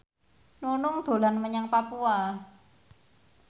Nunung dolan menyang Papua